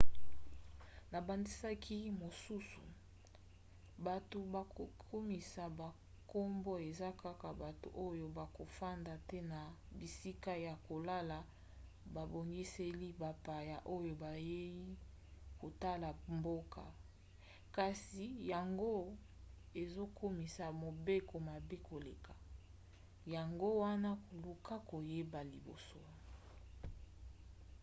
na bandakisa mosusu bato bakokomisa bankombo eza kaka bato oyo bakofanda te na bisika ya kolala babongiseli bapaya oyo bayei kotala mboka. kasi yango ezokomisa mobeko mabe koleka yango wana luka koyeba liboso